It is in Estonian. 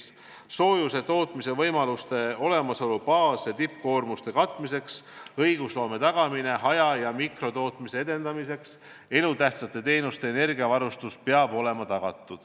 Peab olema tagatud soojuse tootmise võimaluste olemasolu baas- ja tippkoormuste katmiseks, õigusloome haja- ja mikrotootmise edendamiseks, samuti elutähtsate teenuste energiavarustus.